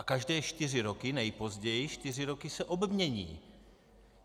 A každé čtyři roky, nejpozději čtyři roky, se obmění.